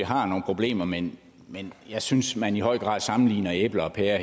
har nogle problemer men jeg synes man her i høj grad sammenligner æbler og pærer